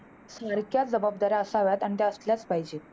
सारख्या जबाबदाऱ्या असाव्यात आणि त्या असल्याचं पाहिजेत.